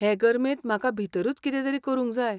हे गर्मेंत म्हाका भितरूच कितें तरी करूंक जाय.